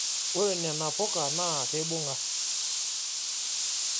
Ore nena ouka naa keibung'a.